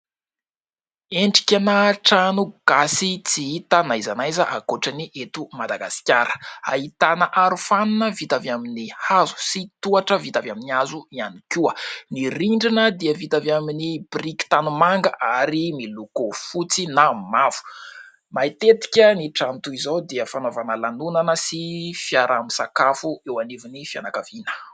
Endrikana trano gasy tsy hita na aiza na aiza ankoatry ny eto Madagasikara. Ahitana arofanina vita avy amin'ny hazo sy tohatra vita avy amin'ny hazo ihany koa. Ny rindrina dia vita avy amin'ny biriky tanimanga ary miloko fotsy na mavo. Matetika ny trano toy izao dia fanaovana lanonana sy fiaraha-misakafo eo anivon'ny fianakaviana.